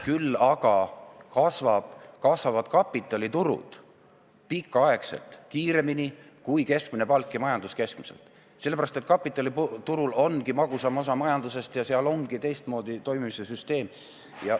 Küll aga kasvavad kapitaliturud pikaaegselt kiiremini kui keskmine palk ja majandus keskmiselt, sellepärast et kapitaliturul ongi magusam osa majandusest ja seal ongi teistmoodi toimimise süsteem.